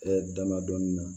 dama dɔɔnin na